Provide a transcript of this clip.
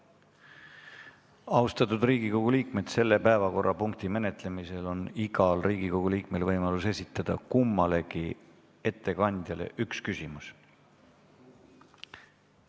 Austatud Riigikogu liikmed, selle päevakorrapunkti menetlemisel on igal Riigikogu liikmel võimalik esitada kummalegi ettekandjale üks küsimus.